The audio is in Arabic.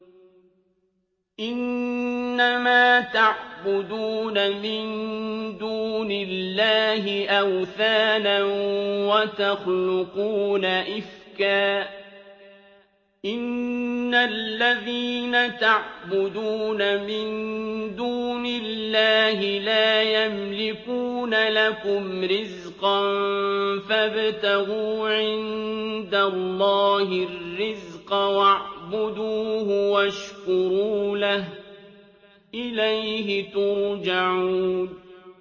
إِنَّمَا تَعْبُدُونَ مِن دُونِ اللَّهِ أَوْثَانًا وَتَخْلُقُونَ إِفْكًا ۚ إِنَّ الَّذِينَ تَعْبُدُونَ مِن دُونِ اللَّهِ لَا يَمْلِكُونَ لَكُمْ رِزْقًا فَابْتَغُوا عِندَ اللَّهِ الرِّزْقَ وَاعْبُدُوهُ وَاشْكُرُوا لَهُ ۖ إِلَيْهِ تُرْجَعُونَ